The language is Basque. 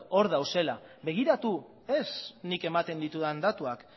hor daudela begiratu ez nik ematen ditudan datuak